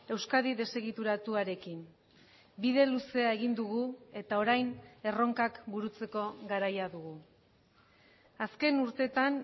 euskadi desegituratuarekin bide luzea egin dugu eta orain erronkak burutzeko garaia dugu azken urteetan